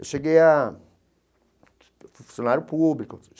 Eu cheguei a fui funcionário público.